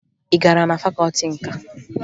Ị gara na fakọọti nka?